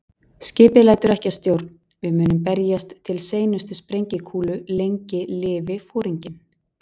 Skipið lætur ekki að stjórn, við munum berjast til seinustu sprengikúlu- lengi lifi Foringinn